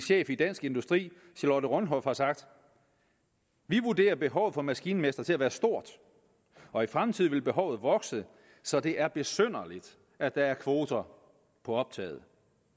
chef i dansk industri charlotte rønhof har sagt vi vurderer behovet for maskinmestre til at være stort og i fremtiden vil behovet vokse så det er besynderligt at der er kvoter på optaget